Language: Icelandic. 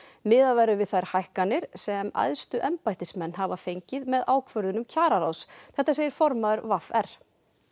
miðað verður við þær hækkanir sem æðstu embættismenn hafa fengið með ákvörðunum kjararáðs þetta segir formaður v r